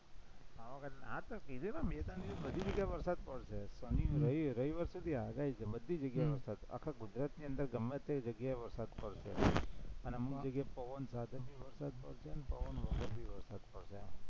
પાવાગઢ હા તો કીધું ને બે-ત્રણ દિવસ બધી જગ્યાએ વરસાદ પડશે રવિ રવિવાર સુધી આગાહી છે, બધી જગ્યાએ વરસાદ, આખા ગુજરાતની અંદર ગમે તે જગ્યાએ પડશે અને